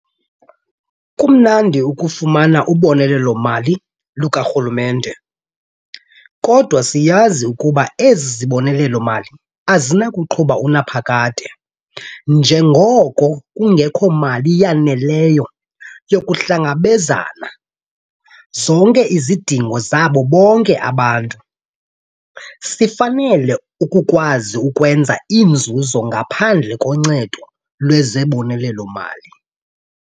Kumnandi ukufumana ubonelelo-mali lukaRhulumente, kodwa siyazi ukuba ezi zibonelelo-mali azinakuqhuba unaphakade njengoko kungekho mali yaneleyo yokuhlangabezana zonke izidingo zabo bonke abantu. Sifanele ukukwazi ukwenza inzuzo ngaphandle koncedo lwezibonelelo-mali.